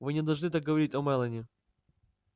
вы не должны так говорить о мелани